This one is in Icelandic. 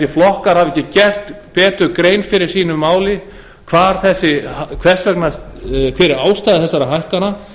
flokkar hafi ekki gert betur grein fyrir sínu máli hver er ástæða þessara hækkana